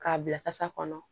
K'a bila kasa kɔnɔ